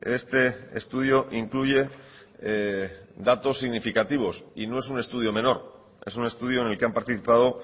este estudio incluye datos significativos y no es un estudio menor es un estudio en el que han participado